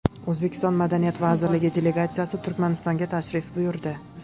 O‘zbekiston Madaniyat vazirligi delegatsiyasi Turkmanistonga tashrif buyurdi.